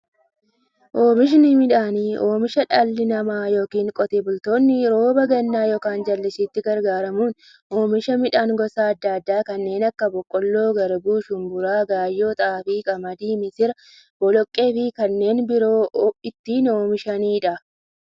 Oomishni midhaanii, oomisha dhalli namaa yookiin Qotee bultoonni roba gannaa yookiin jallisiitti gargaaramuun oomisha midhaan gosa adda addaa kanneen akka; boqqoolloo, garbuu, shumburaa, gaayyoo, xaafii, qamadii, misira, boloqqeefi kanneen biroo itti oomishamiidha.